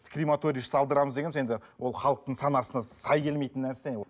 крематория салдырамыз дегеніміз енді ол халықтың санасына сай келмейтін нәрсе